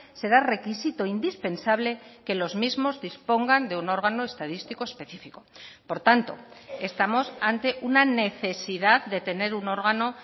será requisito indispensable que los mismos dispongan de un órgano estadístico específico por tanto estamos ante una necesidad de tener un órgano